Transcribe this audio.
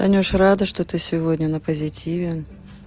танюша рада что ты сегодня на позитиве